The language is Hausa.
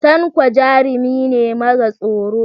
Tanko jarumi ne mara tsoro.